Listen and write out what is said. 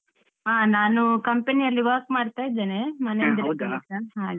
ಹ ನಾನು company ಯಲ್ಲಿ work ಮಾಡ್ತಾ ಇದ್ದೇನೆ ಹಾಗೆ.